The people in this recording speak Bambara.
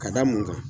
Ka da mun kan